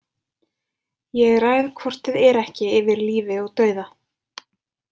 Ég ræð hvort eð er ekki yfir lífi og dauða.